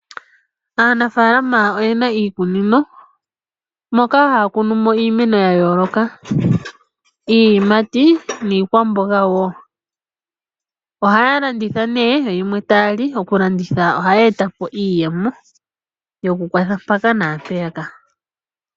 Aanafaalama oyena iikunino moka haya kunu mo iimeno ya yooloka iiyimati niikwamboga wo. Ohaya landitha nee yo yimwe taya li . Okulanditha oha yeeta po iiyemo yokukwatha mpaka naampeyaka.